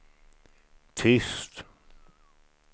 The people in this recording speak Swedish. tyst